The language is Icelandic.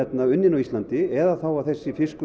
unninn á Íslandi eða þessi fiskur